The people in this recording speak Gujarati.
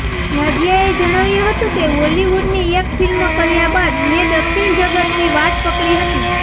નાઝિયાએ જણાવ્યું હતું કે બોલિવૂડની એક ફિલ્મ કર્યા બાદ મેં દક્ષિણ જગતની વાટ પકડી હતી